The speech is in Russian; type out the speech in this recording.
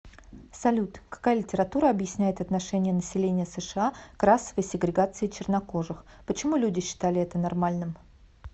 салют какая литература объясняет отношение населения сша к расовой сегрегации чернокожих почему люди считали это нормальным